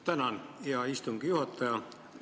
Tänan, hea istungi juhataja!